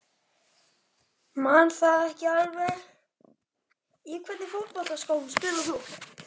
Man það ekki alveg Í hvernig fótboltaskóm spilar þú?